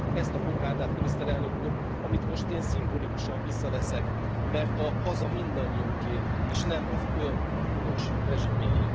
Ezt, ezt a kokárdát, Miniszterelnök Úr, amit most én szimbolikusan visszaveszek, mert a haza mindannyiunké, és nem az ön bűnös rezsimjéé.